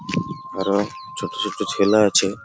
ঘরে ছোট ছোট ছেলে আছে।